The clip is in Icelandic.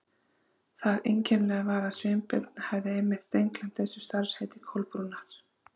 Það einkennilega var að Sveinbjörn hafði einmitt steingleymt þessu starfsheiti Kolbrúnar.